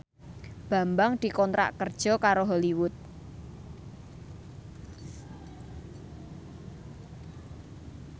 Bambang dikontrak kerja karo Hollywood